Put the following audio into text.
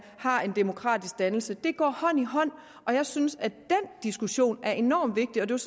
har en demokratisk dannelse de går hånd i hånd og jeg synes at den diskussion er enormt vigtigt og det